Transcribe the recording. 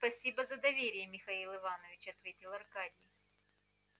спасибо за доверие михаил иванович ответил аркадий